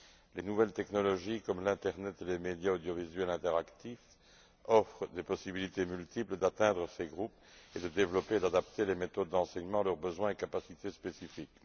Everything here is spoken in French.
Les nouvelles technologies, telles que l'Internet et les médias audiovisuels interactifs, offrent des possibilités multiples d'atteindre ces groupes et de développer et d'adapter les méthodes d'enseignement à leurs besoins et capacités spécifiques.